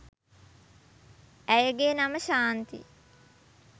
ඇයගේ නම ශාන්ති